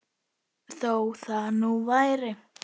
Þó það nú væri!